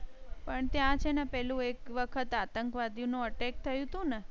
પણ ત્યા છે ને પેલુ એક વખત આતંકવાદી નો attack થયુ તું ને